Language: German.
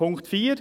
Punkt 4